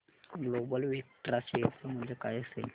global Vectra share चे मूल्य काय असेल